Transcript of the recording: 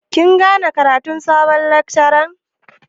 Kin gane ƙaratun sabon lakcaran?